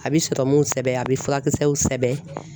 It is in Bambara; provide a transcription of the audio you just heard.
A bɛ sɔrɔmuw sɛbɛn, a bɛ furakisɛw sɛbɛn .